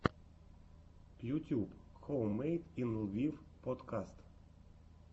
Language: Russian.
ютьюб хоуммэйд ин лвив подкаст